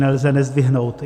Nelze nezdvihnout.